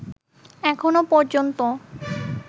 এখনো পর্যন্ত